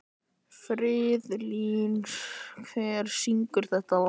Friðlín, hver syngur þetta lag?